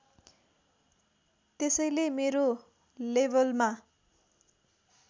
त्यसैले मेरो लेभलमा